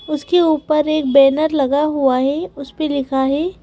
उसके ऊपर एक बैनर लगा हुआ है उस पे लिखा है।